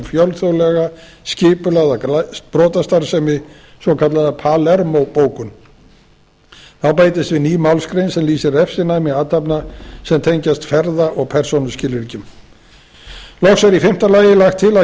fjölþjóðlega skipulagða brotastarfsemi svokallaða palermo bókun þá bætist við ný málsgrein sem lýsir refsinæmi athafna sem tengjast ferða og persónuskilríkjum loks er í fimmta lagi lagt til að